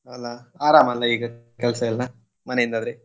ಅಲ್ಲಾ ಆರಾಮ್ ಅಲ್ಲ ಈಗ ಕೆಲ್ಸ ಎಲ್ಲ ಮನೆ ಇಂದಾದ್ರೆ?